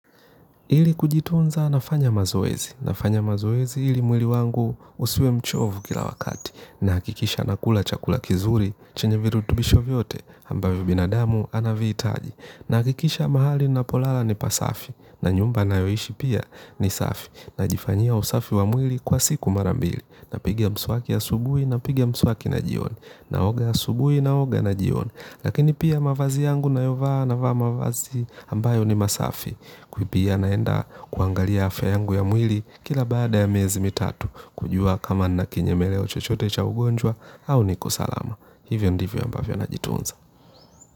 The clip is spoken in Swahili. Ili kujitunza nafanya mazoezi, nafanya mazoezi ili mwili wangu usiwe mchovu kila wakati, nahakikisha nakula chakula kizuri, chenye virutubisho vyote, ambavyo binadamu anavihitaji, nahakikisha mahali ninapolala ni pasafi, na nyumba ninayoishi pia ni safi, najifanyia usafi wa mwili kwa siku mara mbili, napiga mswaki asubuhi napiga mswaki na jioni, naoga asubui, naoga na jioni, lakini pia mavazi yangu ninayovaa navaa mavazi ambayo ni masafi, kwa hiyo pia naenda kuangalia afya yangu ya mwili kila baada ya miezi mitatu. Kujua kama nina kinyemeleo chochote cha ugonjwa au niko salama. Hivyo ndivyo ambavyo najitunza.